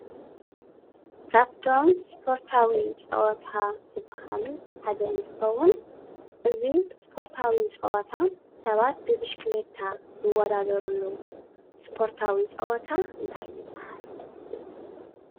ካብቶም ስፖርታዊ ፀወታ ዝበሃሉ ሓደ እንትኸውን እዚ ስፖርታዊ ፀወታ ሰባት ብብሽክሌታ ዝወዳደርሉ ስፖርታዊ ፀወታ እንታይ ይባሃል?